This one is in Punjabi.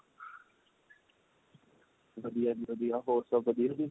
ਵਧੀਆ ਜੀ ਵਧੀਆ ਹੋਰ ਸਭ ਵਧੀਆ ਜੀ